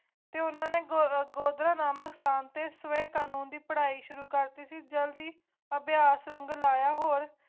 ਤੇ ਉਨ੍ਹਾਂ ਨੇ ਗੋਰਾ ਗੋਰਾ ਨਾ ਮਸਤਾਂ ਤੇ ਤਵਾ ਕਾਨੂੰਨ ਦੀ ਪੜ੍ਹਾਈ ਸ਼ੁਰੂ ਕਰ ਦਿੱਤੀ ਜੋੜੀ ਅਧਿਆਤਮਕ ਲਾਇਆ ਹੂ